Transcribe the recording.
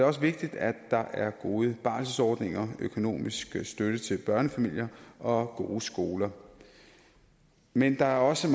også vigtigt at der er gode barselsordninger økonomisk støtte til børnefamilier og gode skoler men der er også